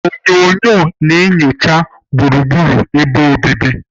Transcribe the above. Onyunyo na-enyocha gburugburu ebe obibi.